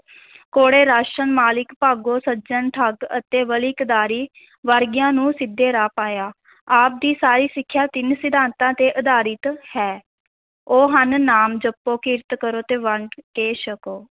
ਕੌਡੇ ਰਾਕਸ਼, ਮਲਿਕ ਭਾਗੋ, ਸੱਜਣ ਠੱਗ ਅਤੇ ਵਲੀ ਕੰਧਾਰੀ ਵਰਗਿਆਂ ਨੂੰ ਸਿੱਧੇ ਰਾਹ ਪਾਇਆ ਆਪ ਦੀ ਸਾਰੀ ਸਿੱਖਿਆ ਤਿੰਨ ਸਿਧਾਂਤਾਂ 'ਤੇ ਅਧਾਰਿਤ ਹੈ, ਉਹ ਹਨ ਨਾਮ ਜਪੋ, ਕਿਰਤ ਕਰੋ ਤੇ ਵੰਡ ਕੇ ਸਕੋ।